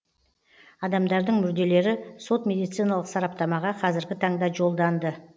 адамдардың мүрделері сот медициналық сараптамаға қазіргі таңда жолданды